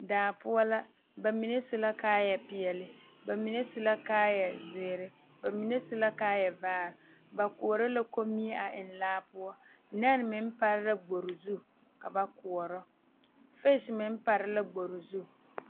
Daa poɔ la ba mine su la kaayɛpeɛle ba mine su la kaayɛzeere ba mine su la kaayɛvaare ba koɔrɔ la kommie a eŋ laa poɔ nɛne meŋ pare la gbori zu ka ba koɔrɔ fese meŋ pare la gbori zu.